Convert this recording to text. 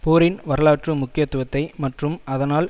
போரின் வரலாற்று முக்கியத்துவத்தை மற்றும் அதனால்